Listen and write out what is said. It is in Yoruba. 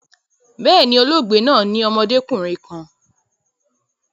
Bẹ́ẹ̀ni, olóògbe naa ni ọmọdekunrin kan